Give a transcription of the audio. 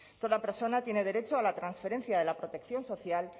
toda persona tiene derecho a la transferencia de la protección social